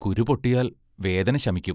കുരു പൊട്ടിയാൽ വേദന ശമിക്കും.